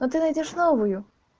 но ты найдёшь новую